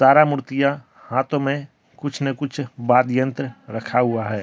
रा मूर्तियां हाथों में कुछ न कुछ वाद यंत्र रखा हुआ हैं।